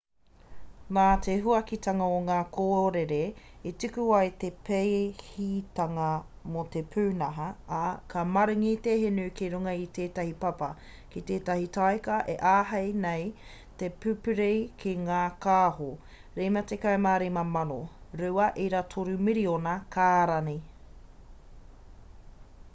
nā te huakitanga o ngā kōrere i tuku ai te pēhitanga mō te pūnaha ā ka maringi te hinu ki runga i tētahi papa ki tētahi taika e āhei nei te pupuri ki ngā kāho 55,000 2.3 miriona kārani